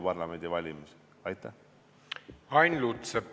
Ain Lutsepp, palun!